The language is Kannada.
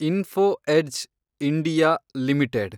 info Edge (India) limited